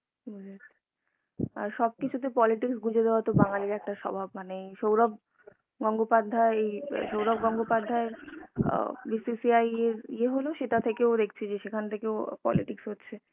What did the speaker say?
আর সবকিছুতে politics গুঁজে দেওয়া তো বাঙালিদের সভাব মানে সৌরভ গঙ্গোপাধ্যায় এই সৌরভ গঙ্গোপাধ্যায় আ BCCI এর ইয়ে হলো সেটা থেকেও দেকছি যে সেখান থেকেও politics হচ্ছে